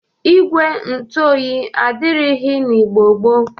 Igwe ntụ oyi adịrịghị n'Igbo gboo.